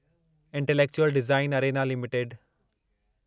intellectual design arena limited